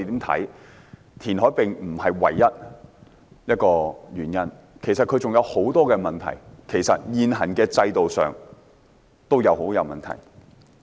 填海並非唯一原因，其實還有很多問題，現行的制度也很有問題。